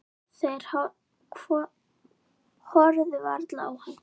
Þeir horfðu varla á hann.